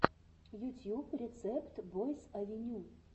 ютьюб рецепт бойс авеню